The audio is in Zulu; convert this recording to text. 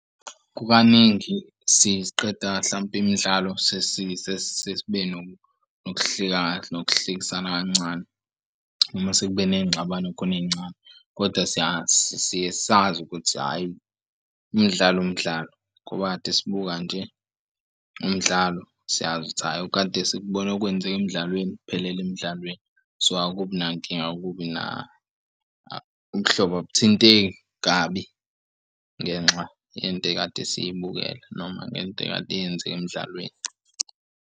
Kukaningi siqeda hlampe imidlalo sesibe nokuhlekisana kancane noma sekube ney'ngxabano khona ey'ncane kodwa siyazi siye sazi ukuthi hhayi imidlalo umdlalo ngoba kade sibuka nje umdlalo siyazi ukuthi hhayi okade sikubone kwenzeka emdlalweni kuphelele emdlalweni. So akubinankinga okubi umhlobo awuthinteki kabi ngenxa yento ekade siyibukela noma ngento ekade yenzeka emdlalweni.